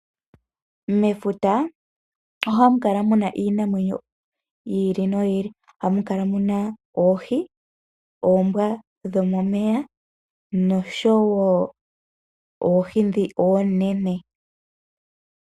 Mefuta ohamu kala muna iinamwenyo yi ili noyi ili. Ohamu kala muna oohi, oombwa dhomomeya noshowo oohi dhi oonene.